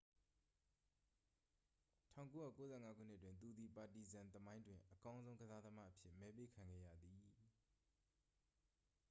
1995 ခုနှစ်တွင် သူသည် ပါတီဇန် သမိုင်းတွင် အကောင်းဆုံးကစားသမားအဖြစ် မဲပေးခံခဲ့ရပါသည်